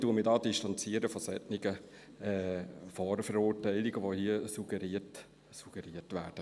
Ich distanziere mich von solchen Vorverurteilungen, wie sie hier suggeriert werden.